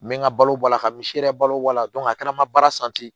N bɛ n ka balo bɔ a la ka misi yɛrɛ balo bɔ a la a kɛra n ma baara